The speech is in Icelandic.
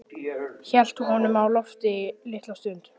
Hélt honum á lofti litla stund.